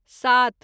सात